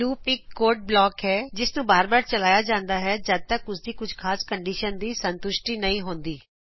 loop ਇਕ code block ਹੈ ਜਿਸ ਨੂੰ ਬਾਰ ਬਾਰ ਚਲਾਇਆ ਜਾਂਦਾ ਹੈ ਜੱਦ ਤੱਕ ਉਸ ਦੀ ਕੁਝ ਖਾਸ ਕੰਡਿਸ਼ਨ ਦੀ ਸੰਤੁਸ਼ਟੀ ਨਹੀ ਹੁੰਦੀ